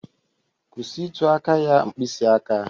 Kwụsị ịtụ aka ya mkpịsị aka